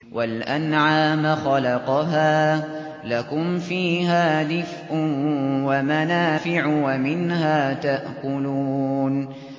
وَالْأَنْعَامَ خَلَقَهَا ۗ لَكُمْ فِيهَا دِفْءٌ وَمَنَافِعُ وَمِنْهَا تَأْكُلُونَ